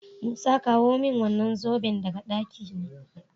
Musa kawo min wannan zoben daga ɗakina